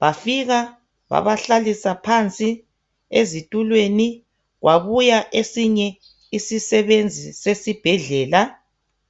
bafika babahlalisa phansi ezitulweni , kwabuya esinye isisebenzi sesibhedlela